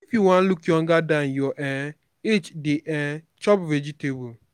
if you wan look younger than your um age dey um chop vegetable